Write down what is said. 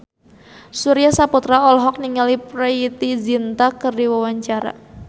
Surya Saputra olohok ningali Preity Zinta keur diwawancara